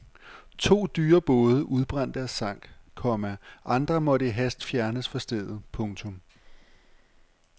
To dyre både udbrændte og sank, komma andre måtte i hast fjernes fra stedet. punktum